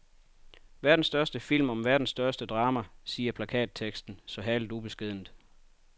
Verdens største film om verdens største drama siger plakatteksten så herligt ubeskedent.